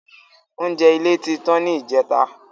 Oúnjẹ ilé tí tán ni ìjẹta